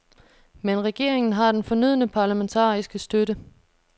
Men regeringen har den fornødne parlamentariske støtte.